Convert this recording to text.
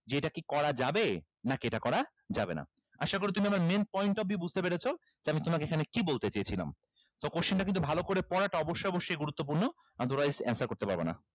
যে এটা কি করা যাবে নাকি এটা করা যাবেনা আশা করি তুমি আমার main point of view বুঝতে পেরেছো যে আমি তোমাকে এখানে কি বলতে চেয়েছিলাম তো question টা কিন্তু ভালো করে পড়াটা অবশ্যই অবশ্যই গুরুত্বপূর্ণ otherwise answer করতে পারবা না